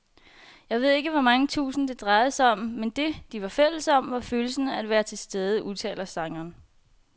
Jeg ved ikke hvor mange tusind, det drejede sig om, men det, de var fælles om, var følelsen af at være tilstede, udtaler sangeren.